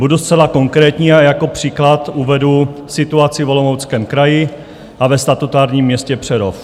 Budu zcela konkrétní a jako příklad uvedu situaci v Olomouckém kraji a ve statutárním městě Přerov.